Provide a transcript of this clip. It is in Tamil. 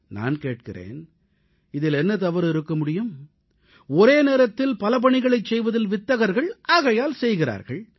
நான் கேட்கிறேன் இதிலென்ன தவறு இருக்க முடியும் ஒரே நேரத்தில் பல பணிகளைச் செய்வதில் வித்தகர்கள் ஆகையால் செய்கிறார்கள்